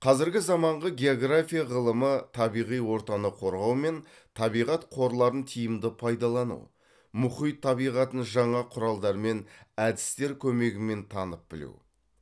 қазіргі заманғы география ғылымы табиғи ортаны қорғау мен табиғат қорларын тиімді пайдалану мұхит табиғатын жаңа құралдар мен әдістер көмегімен танып білу